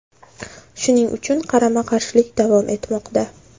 Shuning uchun qarama-qarshilik davom etmoqda.